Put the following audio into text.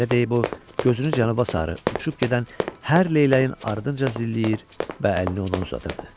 Belə deyib o gözünü cənuba sarı uçub gedən hər leyləyin ardınca zilləyir və əlini ona uzadırdı.